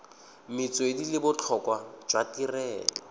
metswedi le botlhokwa jwa tirelo